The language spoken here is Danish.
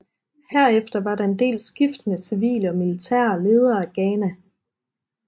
Herefter var der en del skiftende civile og militære ledere af Ghana